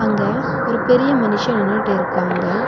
அங்க ஒரு பெரிய மனுஷ நின்னுட்டிருக்காங்க.